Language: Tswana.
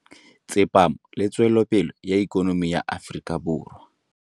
Tsepamo le tswelopele ya ikonomi ya Aforika Borwa.